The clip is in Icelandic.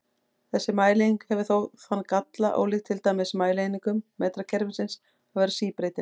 Þessi mælieining hefur þó þann galla, ólíkt til dæmis mælieiningum metrakerfisins, að vera síbreytileg.